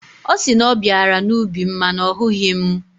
Ọ sị na ọ bịara n'ubi m mana ọ hụghị mụ.